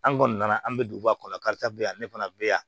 An kɔni nana an bɛ duguba kɔnɔ karitɔn bɛ yan ne fana bɛ yan